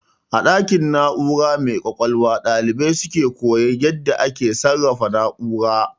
A ɗakin na'ura mai ƙwaƙwalwa ɗalibai suke koyan yadda ake sarrafa na'ura